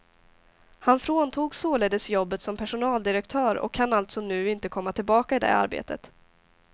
Han fråntogs således jobbet som personaldirektör och kan alltså nu inte komma tillbaka i det arbetet.